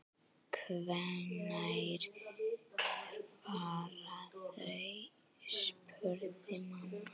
Hvenær fara þau? spurði amma.